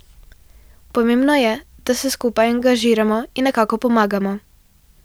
Pomembno je, da se skupaj angažiramo in nekako pomagamo.